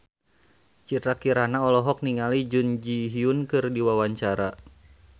Citra Kirana olohok ningali Jun Ji Hyun keur diwawancara